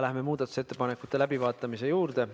Läheme muudatusettepanekute läbivaatamise juurde.